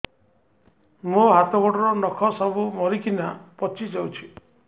ମୋ ହାତ ଗୋଡର ନଖ ସବୁ ମରିକିନା ପଚି ଯାଉଛି